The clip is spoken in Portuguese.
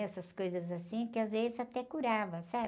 Essas coisas assim, que às vezes até curava, sabe?